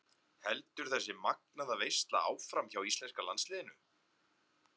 Heldur þessi magnaða veisla áfram hjá íslenska landsliðinu?